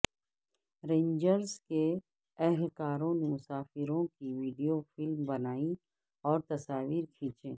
rangers کے اہلکاروں نے مسافروں کی وڈیو فلم بنائی اور تصاویر کھینچیں